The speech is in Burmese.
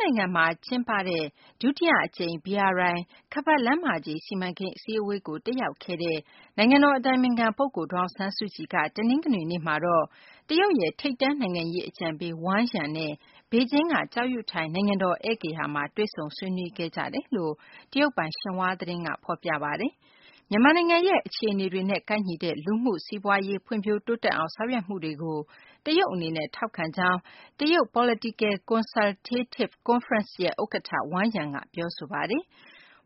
နိုင်ငံမှာ ကျင်းပတဲ့ ဒုတိယ အကြိမ် BRI ခါးပတ်လမ်းမကြီး စီမံကိန်း အစည်းအဝေးကို တက်ရောက်နေတဲ့ နိုင်ငံတော် အတိုင်ပင်ခံ ပုဂ္ဂိုလ် ဒေါ်အောင်ဆန်းစုကြည်က တနင်္ဂနွေနေ့မှာတော့ တရုတ်ရဲ့ ထိပ်တန်း နိုင်ငံရေး အကြံပေး Wang Yang နဲ့ ဘေဂျင်းက ကျောက်ယုထိုင် နိုင်ငံတော် ဧည့်ဂေဟာမှာ တွေ့ဆုံဆွေးနွေးခဲ့ကြကြောင်း တရုတ်ပိုင် ရှင်ဟွာသတင်းက ဖော်ပြပါတယ်။ မြန်မာနိုင်ငံရဲ့ အခြေအနေတွေနဲ့ ကိုက်ညီတဲ့ လူမှုရေး စီးပွားရေး ဖွံ့ဖြိုးတိုးတက်အောင် ဆောင်ရွက်မှုတွေကို တရုတ် အနေနဲ့ ထောက်ခံကြောင်း တရုတ် Political Consultative Conference ရဲ့ ဥက္ကဌ Wang Yang က ပြောဆိုပါတယ်။